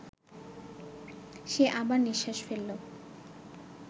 সে আবার নিঃশ্বাস ফেলল